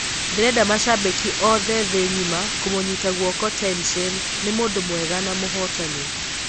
Nderendamashabĩkĩ othe thĩĩ ng'ima kũmũnyita guoko Tenshin, ni mũndũ mwega na mũhotani.